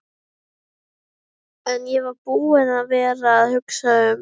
En ég var búinn að vera að hugsa um.